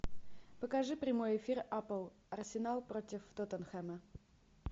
покажи прямой эфир апл арсенал против тоттенхэма